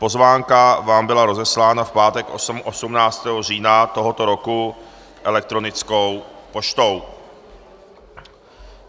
Pozvánka vám byla rozeslána v pátek 18. října tohoto roku elektronickou poštou.